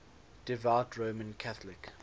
devout roman catholic